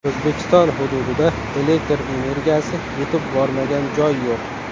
O‘zbekiston hududida elektr energiyasi yetib bormagan joy yo‘q.